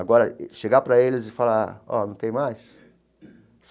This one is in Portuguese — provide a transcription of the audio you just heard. Agora, chegar para eles e falar, olha, não tem mais?